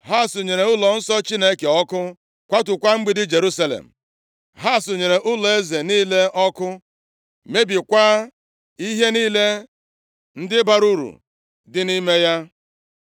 Ha sunyere ụlọnsọ Chineke ọkụ, kwatukwa mgbidi Jerusalem. Ha sunyere ụlọeze niile ọkụ, mebikwaa ihe niile ndị bara uru dị nʼime ya.